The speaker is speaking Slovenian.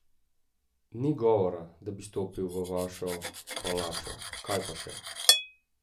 Ni govora, da bi stopil v vašo palačo, kaj pa še!